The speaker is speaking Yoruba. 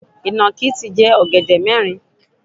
Ìnàkí ti jẹ ọ̀gẹ̀dẹ̀ mẹ́rin.